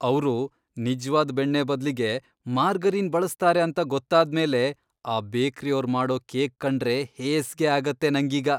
ಅವ್ರು ನಿಜ್ವಾದ್ ಬೆಣ್ಣೆ ಬದ್ಲಿಗೆ ಮಾರ್ಗರೀನ್ ಬಳ್ಸ್ತಾರೆ ಅಂತ ಗೊತ್ತಾದ್ಮೇಲೆ ಆ ಬೇಕ್ರಿಯೋರ್ ಮಾಡೋ ಕೇಕ್ ಕಂಡ್ರೇ ಹೇಸ್ಗೆ ಅಗತ್ತೆ ನಂಗೀಗ.